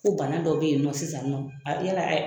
Ko bana dɔ bɛ yen nɔ sisan nɔ a yala